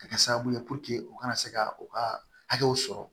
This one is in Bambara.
Ka kɛ sababu ye u kana se ka u ka hakɛw sɔrɔ